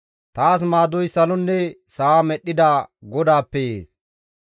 Taas maadoy salonne sa7a medhdhida GODAAPPE yees.